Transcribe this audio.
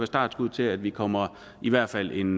startskuddet til at vi kommer i hvert fald en